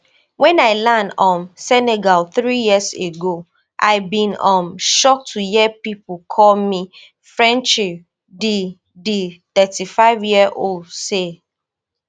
wen i land um senegal three years ago i bin um shock to hear pipo call me frenchie di di thirty-fiveyearold say